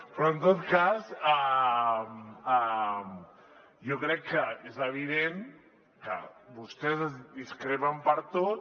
però en tot cas jo crec que és evident que vostès discrepen per tot